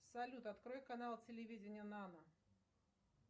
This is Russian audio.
салют открой канал телевидения нано